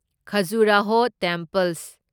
Khajuraho temples